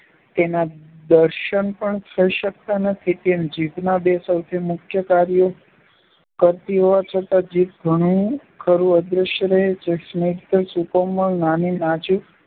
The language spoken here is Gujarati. તેનાં દર્શન પણ થઈ શકતાં નથી તેમ જીવનમાં બે સૌથી મુખ્ય કાર્યો કરતી હોવા છતાં જીભ ઘણું ખરું અદશ્ય રહે છે. સ્નિગ્ધ, સુકોમળ, નાની, નાજુક